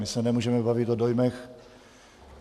My se nemůžeme bavit o dojmech.